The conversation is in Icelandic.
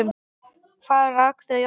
Hvað rak þau áfram?